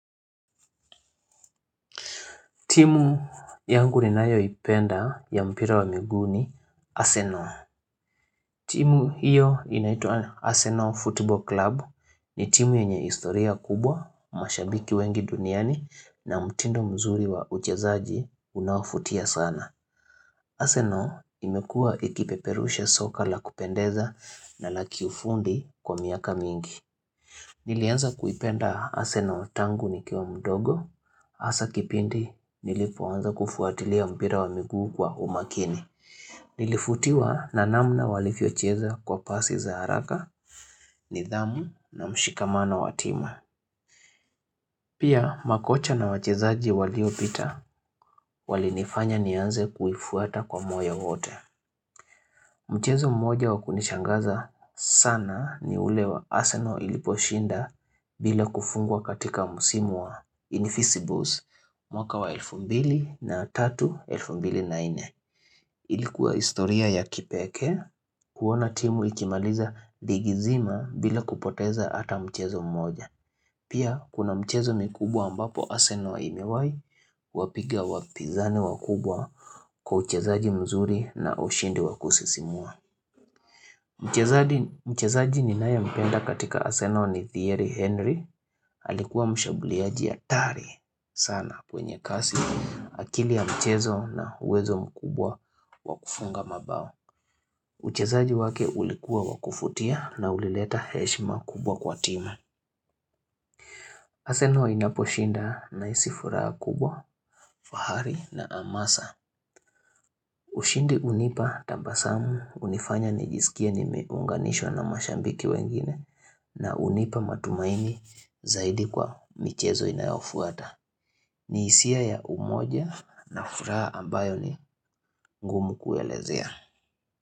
Timu yangu ninayoipenda ya mpira wa miguu ni, Arsenal. Timu hiyo inaitwa Arsenal football Club ni timu yenye historia kubwa, mashabiki wengi duniani na mtindo mzuri wa uchezaji unaofutia sana. Arsenal imekua ikipeperusha soka la kupendeza na la kiufundi kwa miaka mingi. Nilianza kuipenda Arsenal tangu nikiwa mdogo. Hasa kipindi nilipoanza kufuatilia mpira wa miguu kwa umakini Nilifutiwa na namna walivyocheza kwa pasi za haraka nidhamu na mshikamano wa timu Pia makocha na wachezaji walio pita Walinifanya nianze kuifuata kwa moyo wote Mchezo mmoja wakunishangaza sana ni ule wa arsenal iliposhinda bila kufungwa katika msimu wa invisibles mwaka wa elfu mbili na tatu elfu mbili na nne Ilikuwa historia ya kipekee kuona timu ikimaliza ligi zima bila kupoteza ata mchezo mmoja Pia kuna mchezo mikubwa ambapo Arsenal imewai Wapiga wapizani wakubwa kwa uchezaji mzuri na ushindi wa kusisimua Mchezaji ninaye mpenda katika Arsenal ni Thierry Henry alikuwa mshambuliaji hatari sana kwenye kasi akili ya mchezo na uwezo mkubwa wa kufunga mabao. Uchezaji wake ulikuwa wa kufutia na ulileta heshima kubwa kwa timu. Arsenal inaposhinda nahisi furaha kubwa, fahari na amasa. Ushindi hunipa tambasamu hunifanya nijisikie nimeunganishwa na mashabiki wengine na hunipa matumaini zaidi kwa michezo inayofuata. Ni hisia ya umoja na furaha ambayo ni ngumu kuelezea.